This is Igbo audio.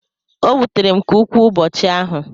o wutere m nke ukwu ụbọchị ahụ